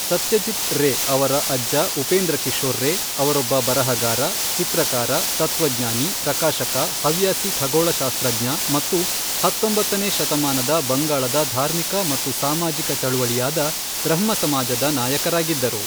ಸತ್ಯಜಿತ್ ರೇ ಅವರ ಅಜ್ಜ ಉಪೇಂದ್ರಕಿಶೋರ್ ರೇ ಅವರೊಬ್ಬ ಬರಹಗಾರ, ಚಿತ್ರಕಾರ, ತತ್ವಜ್ಞಾನಿ, ಪ್ರಕಾಶಕ, ಹವ್ಯಾಸಿ ಖಗೋಳಶಾಸ್ತ್ರಜ್ಞ ಮತ್ತು ಹತ್ತೊಂಬತ್ತನೇ ಶತಮಾನದ ಬಂಗಾಳದ ಧಾರ್ಮಿಕ ಮತ್ತು ಸಾಮಾಜಿಕ ಚಳವಳಿಯಾದ ಬ್ರಹ್ಮ ಸಮಾಜದ ನಾಯಕರಾಗಿದ್ದರು.